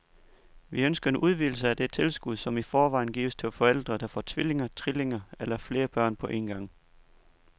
Vi ønsker en udvidelse af det tilskud, som i forvejen gives til forældre, der får tvillinger, trillinger eller flere børn på en gang.